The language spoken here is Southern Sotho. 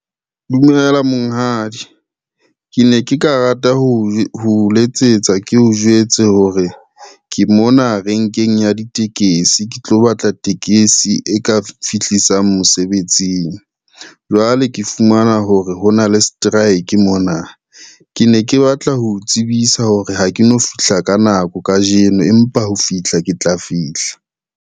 Dumela monghadi. Ke ne ke ka rata ho letsetsa, ke o jwetse hore ke mona renkeng ya ditekesi ke tlo batla tekesi e ka fihlisa mosebetsing. Jwale ke fumana hore hona le strike mona, ke ne ke batla ho o tsebisa hore ha ke no fihla ka nako kajeno, empa ho fihla ke tla fihla.